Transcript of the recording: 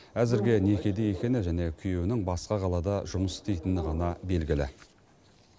әзірге некеде екені және күйеуінің басқа қалада жұмыс істейтіні ғана белгілі